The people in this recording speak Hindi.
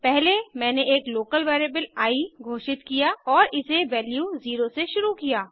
पहले मैंने एक लोकल वेरिएबल आई घोषित किया और इसे वैल्यू 0 से शुरू किया